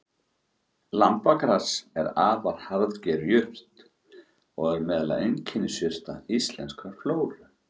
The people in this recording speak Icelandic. Lambagras er afar harðger jurt og er meðal einkennisjurta íslenskrar flóru.